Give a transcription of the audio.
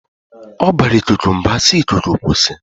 Ọ bara ikuku mba si"Ikuku kwụsị!